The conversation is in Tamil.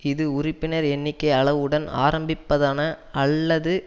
இது உறுப்பினர் எண்ணிக்கை அளவுடன் ஆரம்பிப்பதான அல்லது